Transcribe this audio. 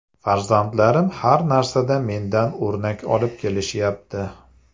Farzandlarim har narsada mendan o‘rnak olib kelishyapti.